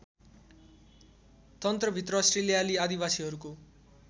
तन्त्रभित्र अस्ट्रेलियाली आदिवासीहरूको